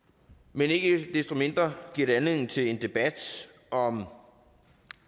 men ikke desto mindre giver det anledning til en debat om